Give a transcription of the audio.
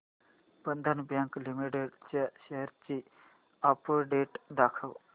बंधन bank limited च्या shares ची update दाखव